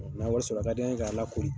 N'an ye wari sɔrɔ a ka d'an ye k'a lakori.